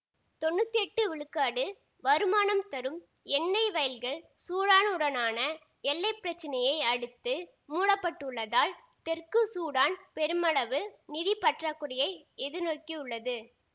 தொன்னூத்தி எட்டு விழுக்காடு வருமானம் தரும் எண்ணெய் வயல்கள் சூடானுடனான எல்லை பிரச்சினையை அடுத்து மூடப்பட்டுள்ளதால் தெற்கு சூடான் பெருமளவு நிதி பற்றாக்குறையை எதிர்நோக்கியுள்ளது